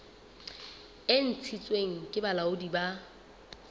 e ntshitsweng ke bolaodi bo